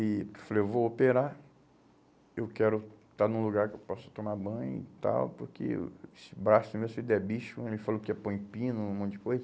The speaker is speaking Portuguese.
E falei, eu vou operar, eu quero estar num lugar que eu possa tomar banho e tal, porque esse braço meu se der bicho, ele falou que ia pôr em pino, um monte de coisa.